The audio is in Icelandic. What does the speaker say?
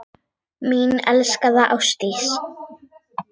Mín elskaða Ásdís.